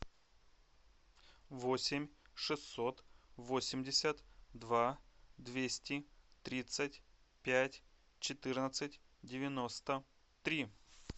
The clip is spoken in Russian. восемь шестьсот восемьдесят два двести тридцать пять четырнадцать девяносто три